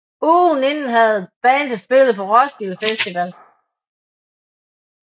Ugen inden havde bandet spillet på Roskilde Festival